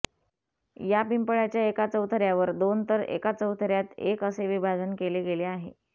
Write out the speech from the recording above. या पिंपळाच्या एका चौथऱ्यावर दोन तर एका चौथऱ्यात एक असे विभाजन केले गेले आहे